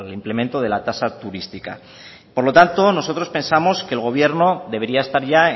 implemento de la tasa turística y por lo tanto nosotros pensamos que el gobierno debería estar ya